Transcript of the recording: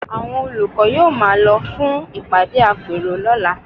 Àwọn olùkọ́ yóò máa lọ fún ìpàdé àpérò lọ́la